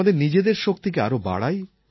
আমাদের নিজেদের শক্তিকে আরও বাড়াই